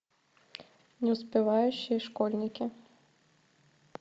неуспевающие школьники